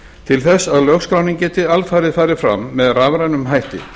til þess að lögskráning geti alfarið farið fram með rafrænum hætti